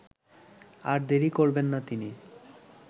আর দেরি করবেন না তিনি